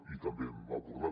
i també hem abordat